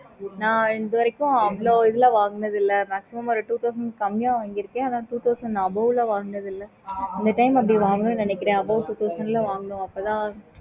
okay mam